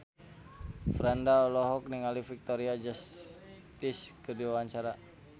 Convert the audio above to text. Franda olohok ningali Victoria Justice keur diwawancara